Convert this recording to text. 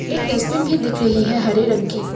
एक डस्टबिन भी दिख रही है हरे रंग की--